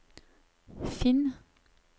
finn